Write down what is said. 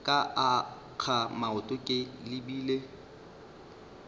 ka akga maoto ke lebile